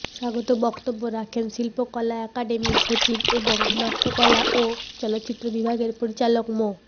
স্বাগত বক্তব্য রাখেন শিল্পকলা একাডেমির সচিব এবং নাট্যকলা ও চলচ্চিত্র বিভাগের পরিচালক মো